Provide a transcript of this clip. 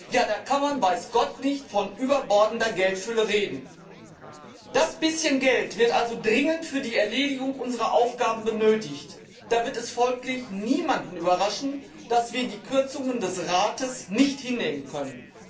Ja, da kann man weiß Gott nicht von überbordender Geldfülle reden! Das bisschen Geld wird also dringend für die Erledigung unserer Aufgaben benötigt. Da wird es folglich niemanden überraschen, dass wir die Kürzungen des Rates nicht hinnehmen können.